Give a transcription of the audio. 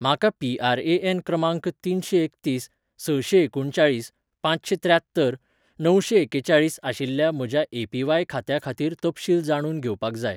म्हाका पी.आर.ए.एन. क्रमांक तिनशेंएकतीस सशेंएकुणचाळीस पांचशेंत्र्यात्तर णवशेंएकेचाळीस आशिल्ल्या म्हज्या ए.पी.व्हाय. खात्या खातीर तपशील जाणून घेवपाक जाय